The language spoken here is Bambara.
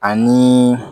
Ani